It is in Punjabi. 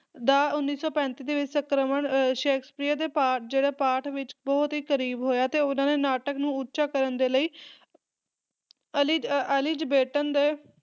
ਦਾ ਉੱਨੀ ਸੌ ਪੈਂਤੀ ਦੇ ਵਿੱਚ ਸੰਸਕਰਣ ਅਹ ਸ਼ੇਕਸਪੀਅਰ ਦੇ ਪਾਠ ਜਿਹੜੇ ਪਾਠ ਵਿੱਚ ਬਹੁਤ ਹੀ ਕਰੀਬ ਹੋਇਆ ਤੇ ਓਹਦਾਂ ਦੇ ਨਾਟਕ ਨੂੰ ਉੱਚਾ ਕਰਨ ਦੇ ਲਈ ਅਲਿਜ ਅਹ ਅਲਿਜ਼ਾਬੇਟਨ ਦੇ